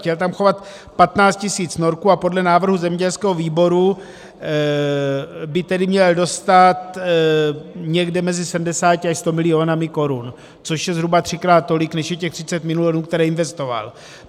Chtěl tam chovat 15 tisíc norků a podle návrhu zemědělského výboru by tedy měl dostat někde mezi 70 až 100 miliony korun, což je zhruba třikrát tolik, než je těch 30 milionů, které investoval.